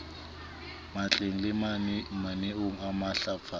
matleng le mananeong a matlafatso